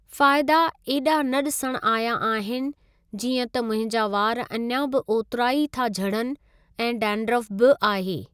फ़ाइदा ऐॾा न ॾिसणु आया आहिनि जीअं त मुंहिंजा वार अञां बि ओतिरा ई था झड़नि ऐं डैंड्रफ़ बि आहे।